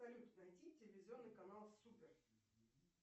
салют найти телевизионный канал супер